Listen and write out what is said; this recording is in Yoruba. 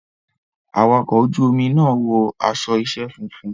Awakọ̀ ojú omi náà wọ aṣọ iṣẹ́ funfun.